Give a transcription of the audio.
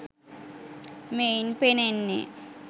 මෙයින් පෙනෙන්නේ